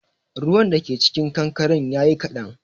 Ruwan da ke cikin kankaren yayi kaɗan